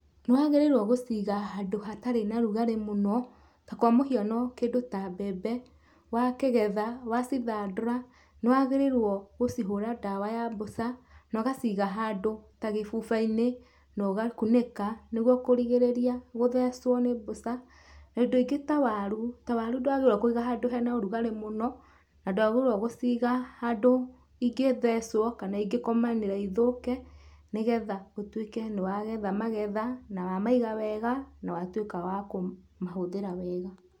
Nĩ wagĩrĩirwo gũciga handũ hatarĩ na rugarĩ mũno. Ta kwa mũhiano kĩndũ ta mbembe wakĩgetha wacithandũra, nĩ wagĩrĩirwo gũcihũra ndawa ya mbũca na ũgaciga handũ ta gĩbuba-inĩ na ũgakunĩka. Niguo kurigĩrĩria gũthecwo nĩ mbũca. Na indo ingĩ ta waru, ta waru ndũagirĩirwo kũigwo handũ hena rugarĩ mũno na ndwagĩrĩirwo gũciga handũ ingĩthecwo kana ingĩkomanĩra ithũke, nĩ getha ũtuĩke nĩ wagetha magetha, na wamaiga wega, na watuĩka wa kũmahũthĩra wega.